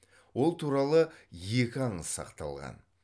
ол туралы екі аңыз сақталған